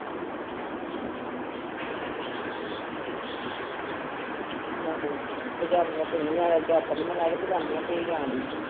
ਲਾਡੋ ਪਜਾਮੀਆਂ ਭਿਓਈ ਜਾਣ ਦੀ diaper ਨਹੀਂ ਮੈਂ ਲਾਇਆ ਤੇ ਪਜਾਮੀਆਂ ਭਿਓਈ ਜਾਣ ਦੀ।